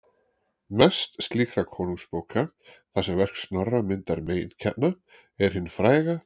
Mest slíkra konungabóka, þar sem verk Snorra myndar meginkjarna, er hin fræga